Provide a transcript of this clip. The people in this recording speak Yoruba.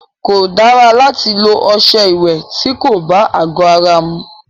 Kò dára láti lọ ọṣẹ ìwẹ̀ ti kò bá àgọ ara mu.